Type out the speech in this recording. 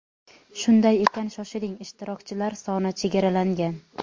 Shunday ekan shoshiling ishtirokchilar soni chegaralangan.